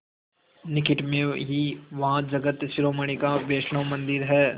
निकट में ही वहाँ जगत शिरोमणि का वैष्णव मंदिर है